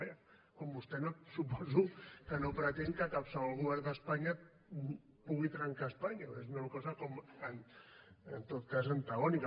vaja com vostè suposo que no pretén que qualsevol govern d’espanya pugui trencar espanya perquè és una cosa en tot cas antagònica